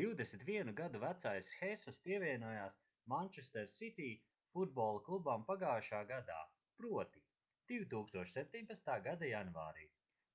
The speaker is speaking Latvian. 21 gadu vecais hesus pievienojās manchester city futbola klubam pagājušajā gadā proti 2017. gada janvārī